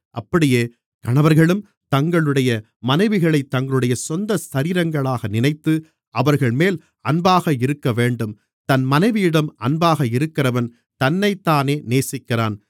அப்படியே கணவர்களும் தங்களுடைய மனைவிகளைத் தங்களுடைய சொந்த சரீரங்களாக நினைத்து அவர்கள்மேல் அன்பாக இருக்கவேண்டும் தன் மனைவியிடம் அன்பாக இருக்கிறவன் தன்னைத்தானே நேசிக்கிறான்